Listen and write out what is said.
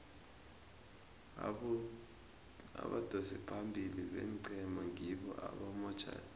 abadosi phambili beenqhema ngibo abamotjha ilutjha